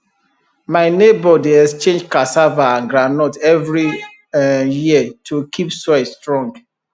my neighbour dey exchange cassava and groundnut every um year to keep soil strong